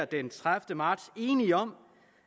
den tredivete marts enige om